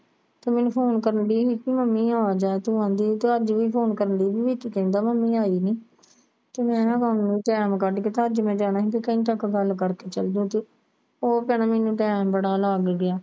ਤੂੰ ਮੈਨੂੰ ਫੋਨ ਕਰਨੀ ਦੀ ਕਿ Mummy ਆ ਜਾ ਤੂੰ ਆਦੀ ਤੇ ਅੱਜ ਵੀ ਫੋਨ ਕਰਨੀ ਦੀ ਤੇ ਵਿੱਚ ਕਹਿੰਦਾ Mummy ਆਈ ਨੀ ਤੇ ਮੈਂ ਕੇਵਾ Time ਕੱਢ ਕੇ ਭੁੱਜ ਮੈਂ ਜਾਣਾ ਸੀ ਤੇ ਘੰਟਾ ਕੇ ਗੱਲ ਕਰਕੇ ਚਲ ਜਾਂਦੀ ਉਹ ਭਾਣੇ ਮੈਨੂੰ Time ਬੜਾ ਲੱਗ ਗਿਆ